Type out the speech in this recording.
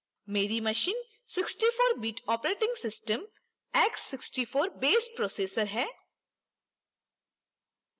मेरी machine 64bit operating system 64based processor है